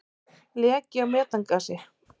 Leki á metangasi.